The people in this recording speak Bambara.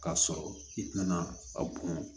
K'a sɔrɔ i tɛna a bɔn